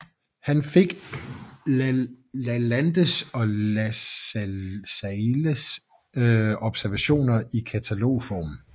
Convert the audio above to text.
Han fik udgivet Lalandes og Lacailles observationer i katalogform